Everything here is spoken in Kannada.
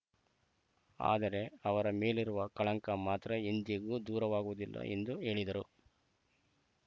ಆದರೆ ಅವರ ಮೇಲಿರುವ ಕಳಂಕ ಮಾತ್ರ ಎಂದಿಗೂ ದೂರವಾಗುವುದಿಲ್ಲ ಎಂದು ಹೇಳಿದರು